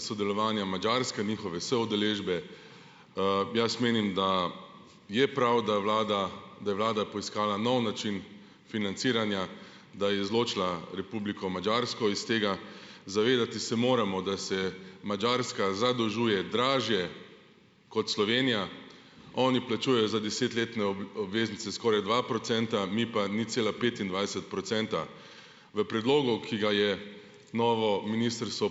sodelovanja Madžarske, njihove soudeležbe. jaz menim, da je prav, da vlada da je vlada poiskala nov način financiranja, da je izločila Republiko Madžarsko iz tega. Zavedati se moremo, da se Madžarska zadolžuje dražje kot Slovenija. Oni plačujejo za desetletne obveznice skoraj dva procenta, mi pa nič cela petindvajset procenta. V predlogu, ki ga je novo ministrstvo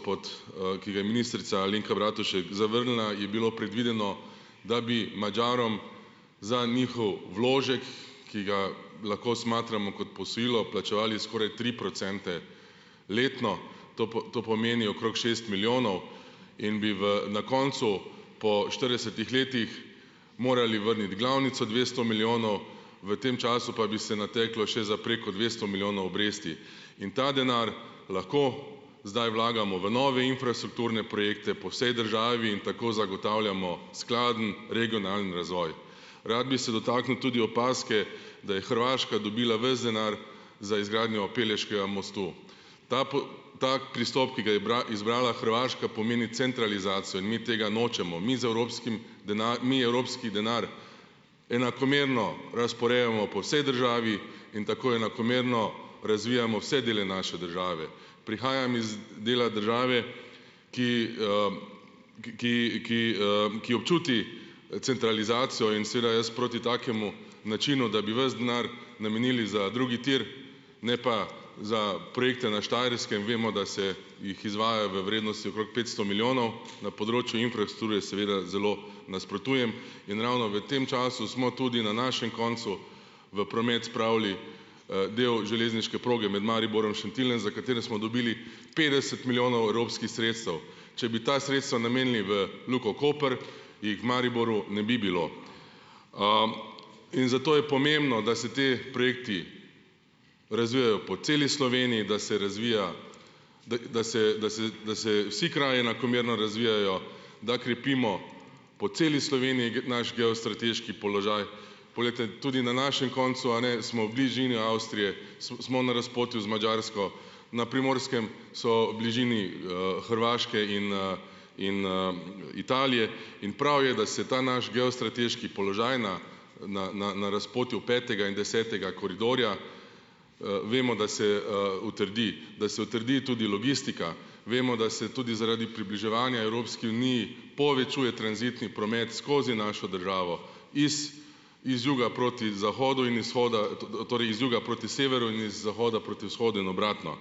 ki ga je ministrica Alenka Bratušek zavrnila, je bilo predvideno, da bi Madžarom za njihov vložek, ki ga lahko smatramo kot posojilo, plačevali skoraj tri procente letno. To to pomeni okrog šest milijonov in bi v na koncu po štiridesetih letih morali vrniti glavnico dvesto milijonov, v tem času pa bi se nateklo še za preko dvesto milijonov obresti. In ta denar lahko zdaj vlagamo v nove infrastrukturne projekte po vsej državi in tako zagotavljamo skladen regionalni razvoj. Rad bi se dotaknil tudi opazke, da je Hrvaška dobila ves denar za izgradnjo Pelješkega mostu. Ta ta pristop, ki ga je izbrala Hrvaška, pomeni centralizacijo in mi tega nočemo. Mi z evropskim mi evropski denar enakomerno razporejamo po vsej državi in tako enakomerno razvijamo vse dele naše države. Prihajam iz dela države, ki, ki ki, ki občuti, centralizacijo in seveda jaz proti takemu načinu, da bi vas denar namenili za drugi tir, ne pa za projekte na Štajerskem - vemo, da se jih izvaja v vrednosti okrog petsto milijonov, na področju infrastrukture seveda zelo nasprotujem. In ravno v tem času smo tudi na našem koncu v promet spravili, del železniške proge med Mariborom Šentiljem, za katere smo dobili petdeset milijonov evropskih sredstev. Če bi ta sredstva namenili v Luko Koper, jih v Mariboru ne bi bilo. in zato je pomembno, da se ti projekti razvijajo po celi Sloveniji, da se razvija ... da se, da se, da se vsi kraji enakomerno razvijajo, da krepimo po celi Sloveniji naš geostrateški položaj. Poleg tudi na našem koncu, - smo v bližini Avstrije, smo na razpotju z Madžarsko. Na Primorskem so v bližini, Hrvaške in in, Italije in prav je, da se ta naš geostrateški položaj na, na na na razpotju petega in desetega koridorja, vemo, da se, utrdi. Da se utrdi tudi logistika. Vemo, da se tudi zaradi približevanja Evropski uniji povečuje tranzitni promet skozi našo državo - iz iz juga proti zahodu in izhoda - t torej iz juga proti severu in iz zahoda proti vzhodu in obratno.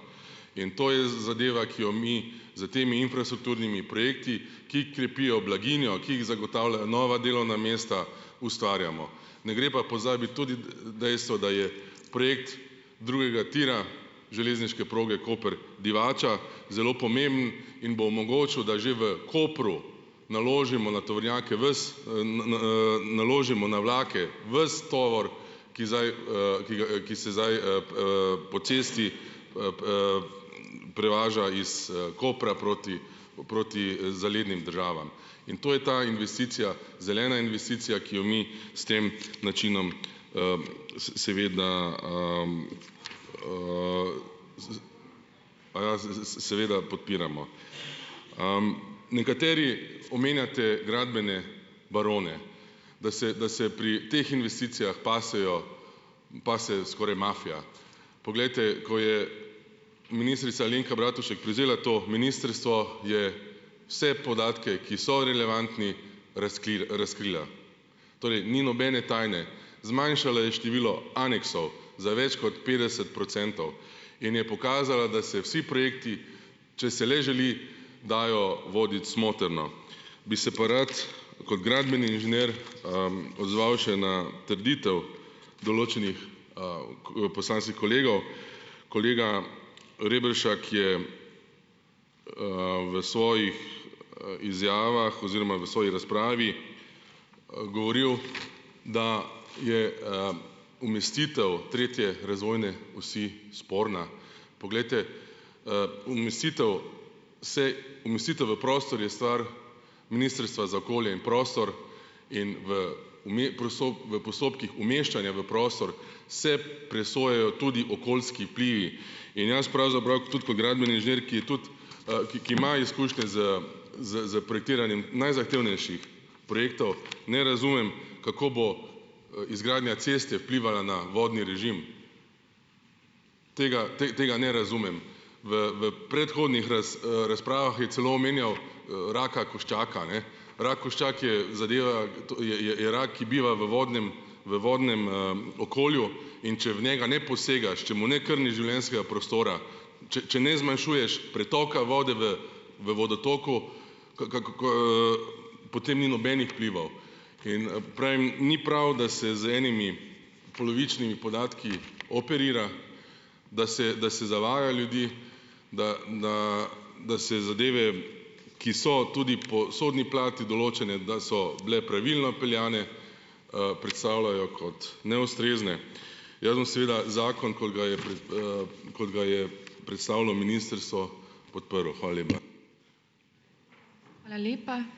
In to je zadeva, ki jo mi s temi infrastrukturnimi projekti, ki krepijo blaginjo, ki zagotavljajo nova delovna mesta, ustvarjamo. Ne gre pa pozabiti tudi dejstva, da je projekt drugega tira železniške proge Koper-Divača zelo pomemben in bo omogočil, da že v Kopru naložimo na tovornjake ves, naložimo na vlake ves tovor, ki zdaj, ki ki se zdaj, po cesti, prevaža iz, Kopra proti proti, zalednim državam. In to je ta investicija, zelena investicija, ki jo mi s tem načinom, seveda, z aja z z seveda podpiramo. nekateri omenjate gradbene barone. Da se, da se pri teh investicijah pasejo pase skoraj mafija. Poglejte, ko je ministrica Alenka Bratušek prevzela to ministrstvo, je vse podatke, ki so relevantni, razkrila. Torej ni nobene tajne. Zmanjšala je število aneksov za več kot petdeset procentov in je pokazala, da se vsi projekti, če se le želi, dajo voditi smotrno. Bi se pa rad kod gradbeni inženir, odzval še na trditev določenih, poslanskih kolegov. Kolega Reberšak je, v svojih, izjavah oziroma v svoji razpravi, govoril, da je, umestitev tretje razvojne osi sporna. Poglejte, umestitev se, umestitev v prostor je stvar Ministrstva za okolje in prostor in v v postopkih umeščanja v prostor se presojajo tudi okoljski vplivi. In jaz pravzaprav tudi kot gradbeni inženir, ki tudi, ki ima izkušnje s s s projektiranjem najzahtevnejših projektov, ne razumem, kako bo, izgradnja ceste vplivala na vodni režim. Tega tega ne razumem. V v predhodnih razpravah je celo omenjal, raka koščaka, a ne. Rak koščak je zadeva, je je je rak, ki biva v vodnem v vodnem, okolju, in če v njega ne posegaš, če mu ne krniš življenjskega prostora, če ne zmanjšuješ pretoka vode v v vodotoku, potem ni nobenih vplivov. In, pravim, ni prav, da se z enimi polovičnimi podatki operira, da se da se zavaja ljudi, da da da se zadeve, ki so tudi po sodni plati določene, da so bile pravilno peljane, predstavljajo kot neustrezne. Jaz bom seveda zakon, kot ga je kot ga je predstavilo ministrstvo, podprl. Hvala lepa.